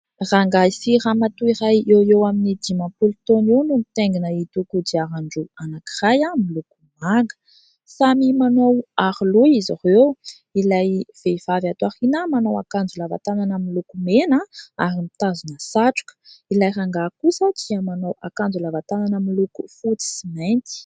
Rangahy sy ramatoa iray eo eo amin'ny dimampolo taona eo no nitaingina ito kodiaran-droa anankiray miloko manga. Samy manao aroloha izy ireo : ilay vehivavy ato aoriana manao akanjo lava tanana miloko mena ary mitazona satroka, ilay rangahy kosa dia manao akanjo lava tanana miloko fotsy sy mainty.